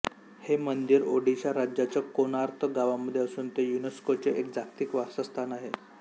हे मंदिर ओडिशा राज्याच्या कोणार्क गावामध्ये असून ते युनेस्कोचे एक जागतिक वारसा स्थान आहे